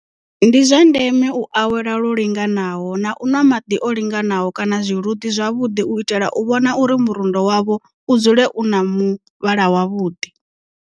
Ndi zwa ndeme u awela lwo linganaho na u nwa maḓi o linganaho kana zwiluḓi zwavhuḓi u itela u vhona uri murundo wavho u dzule u na muvhala wavhuḓi.